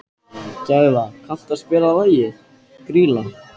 Gæfa, kanntu að spila lagið „Grýla“?